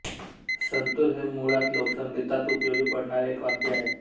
संतूर हे मुळात लोकसंगीतात उपयोगी पडणारे एक वाद्य